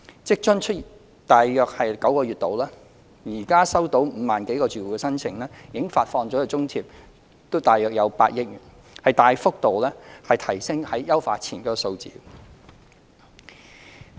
職津推出約9個月，至今收到5萬多個住戶的申請，已發放津貼約8億元，大幅度高於優化前的數字。